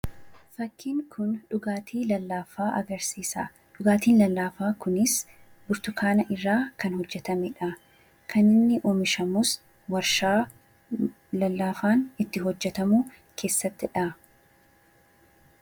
Fakkiin Kun dhugaatii lallaafaa agarsiisa. Dhugaatiin lallaafaa Kunis burtukaana irraa kan hojjetamedha. Kan inni oomishamus waarshaa lallaafaan itti hojjetamu keessattidha.